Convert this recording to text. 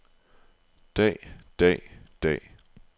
dag dag dag